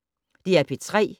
DR P3